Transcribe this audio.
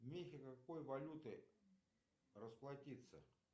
в мехико какой валютой расплатиться